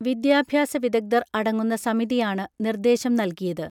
വിദ്യാഭ്യാസ വിദഗ്ധർ അടങ്ങുന്ന സമിതിയാണ് നിർദ്ദേശം നൽകിയത്